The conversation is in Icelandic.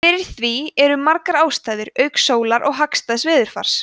fyrir því eru margar ástæður auk sólar og hagstæðs veðurfars